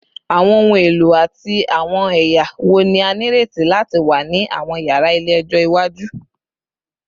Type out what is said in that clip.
Awọn ohun elo ati awọn ẹya wo ni a nireti lati wa ni awọn yara ile-ẹjọ iwaju?